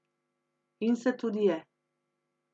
In se tudi je.